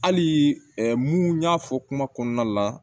Hali mun y'a fɔ kuma kɔnɔna la